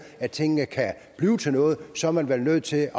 at tingene kan blive til noget så er man vel nødt til